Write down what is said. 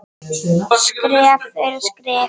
Skref fyrir skrif.